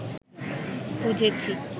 খুঁজেছি